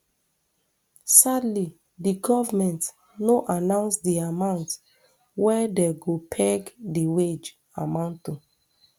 sadly di goment no announce di amount wey dem go peg di wage amount to